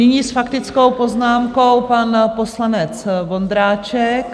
Nyní s faktickou poznámkou pan poslanec Vondráček.